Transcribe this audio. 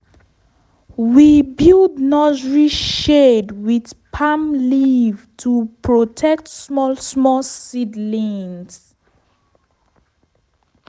we build nursery shade with palm leaf to protect small small seedling.